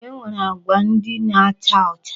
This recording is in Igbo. E nwere agwa ndị na-acha ọcha.